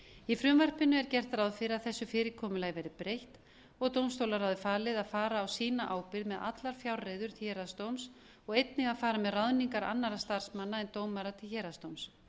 í frumvarpinu er gert ráð fyrir að þessu fyrirkomulagi verði breytt og dómstólaráði verði falið að fara á sína ábyrgð með allar fjárreiður héraðsdóms og einnig að fara með ráðningar annarra starfsmanna en dómara til héraðsdóms